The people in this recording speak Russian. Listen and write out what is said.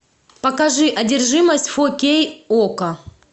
покажи одержимость фо кей окко